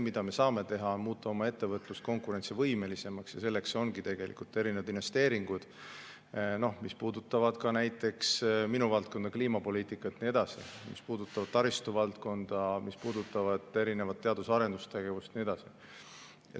Me saame muuta oma ettevõtlust konkurentsivõimelisemaks ja selleks ongi erinevad investeeringud, mis puudutavad ka näiteks minu valdkonda, kliimapoliitika, samuti taristu valdkonda, teadus- ja arendustegevust ja nii edasi.